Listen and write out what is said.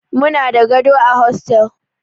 Muna da gado a hostel.